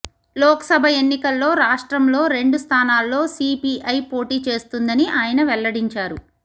లోక్సభ ఎన్నికల్లో రాష్ట్రంలో రెండు స్థానాల్లో సీపీఐ పోటీ చేస్తుందని ఆయన వెల్లడించారు